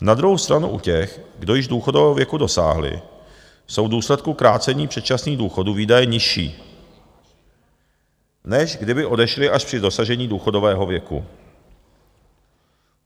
Na druhou stranu u těch, kdo již důchodového věku dosáhli, jsou v důsledku krácení předčasných důchodů výdaje nižší, než kdyby odešli až při dosažení důchodového věku.